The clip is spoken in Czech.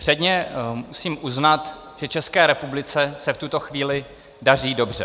Předně musím uznat, že České republice se v tuto chvíli daří dobře.